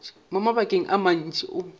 mo mabakeng a mantši o